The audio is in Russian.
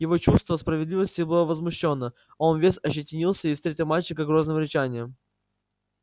его чувство справедливости было возмущено он весь ощетинился и встретил мальчика грозным рычанием